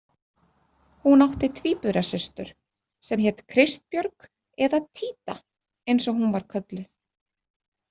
Hún átti tvíburasystur sem hét Kristbjörg eða Títa eins og hún var kölluð.